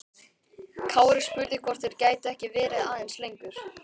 Kári spurði hvort þeir gætu ekki verið aðeins lengur.